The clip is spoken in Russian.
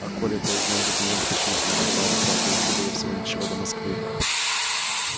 а коле проездные документы почему то не выдавали правда езды было всего ничего до москвы